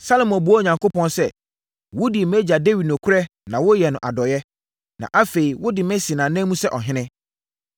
Salomo buaa Onyankopɔn sɛ, “Wodii mʼagya Dawid nokorɛ na woyɛɛ no adɔeɛ, na afei wode me asi nʼanan mu sɛ ɔhene.